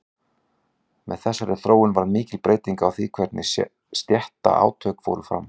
Með þessari þróun varð mikil breyting á því hvernig stéttaátök fóru fram.